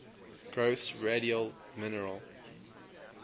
growths radial mineral